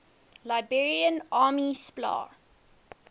liberation army spla